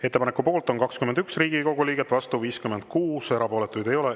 Ettepaneku poolt on 21 Riigikogu liiget, vastu 56, erapooletuid ei ole.